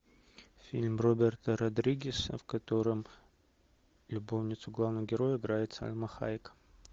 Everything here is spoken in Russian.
фильм роберта родригеса в котором любовницу главного героя играет сальма хайек